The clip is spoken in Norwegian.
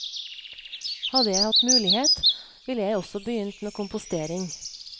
Hadde jeg hatt mulighet, ville jeg også begynt med kompostering.